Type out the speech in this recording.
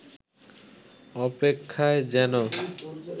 অপেক্ষায় যেন